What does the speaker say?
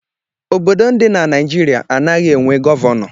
Obodo ndị dị na Naịjirịa anaghị enwe Gọvanọ.